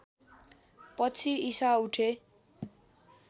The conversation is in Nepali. पछि ईशा उठे